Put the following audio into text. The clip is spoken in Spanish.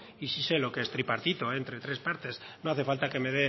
y sí sé lo que es tripartito entre tres partes no hace falta que me